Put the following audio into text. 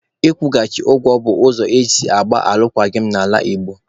Ị kwụchaghị ngụ bụ ụzọ esi agba alụkwaghịm n'ala Igbo